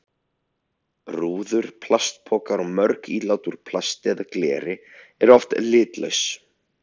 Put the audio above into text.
Rúður, plastpokar og mörg ílát úr plasti eða gleri eru oft litlaus.